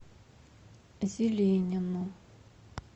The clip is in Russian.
зеленину